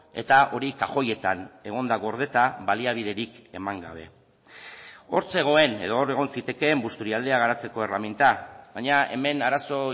eta hori kajoietan egon da gordeta baliabiderik eman gabe hor zegoen edo hor egon zitekeen busturialdea garatzeko erreminta baina hemen arazo